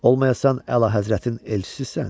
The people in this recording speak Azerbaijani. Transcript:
Olmayasan Əlahəzrətin elçisisən?